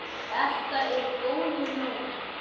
Þetta er góður náungi.